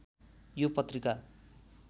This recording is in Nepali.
यो पत्रिका